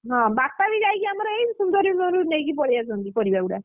ହଁ ବାପା ବି ଯାଇକି ଆମର ଏଇ ସୁନ୍ଦରୀ ନଇରୁ ନେଇକି ପଳେଇ ଆସନ୍ତି ପରିବାଗୁଡା।